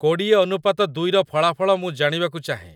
କୋଡ଼ିଏ ଅନୁପାତ ଦୁଇ ର ଫଳାଫଳ ମୁଁ ଜାଣିବାକୁ ଚାହେଁ